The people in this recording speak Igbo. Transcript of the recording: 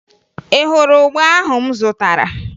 Ị hụrụ ụgba ahụ m zụtara?